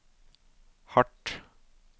hardt